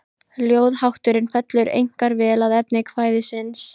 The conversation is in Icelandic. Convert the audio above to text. Ljóðahátturinn fellur einkar vel að efni kvæðisins.